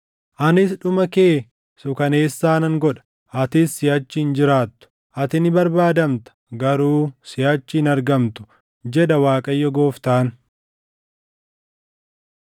Anis dhuma kee suukaneessaa nan godha; atis siʼachi hin jiraattu. Ati ni barbaadamta; garuu siʼachi hin argamtu, jedha Waaqayyo Gooftaan.”